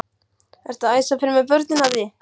Ertu að æsa fyrir mér börnin Haddi!